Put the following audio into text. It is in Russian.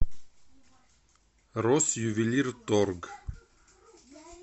россювелирторг